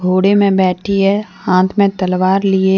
घोड़े में बैठी हैं हाथ में तलवार लिए--